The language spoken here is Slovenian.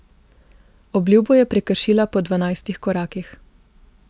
Obljubo je prekršila po dvanajstih korakih.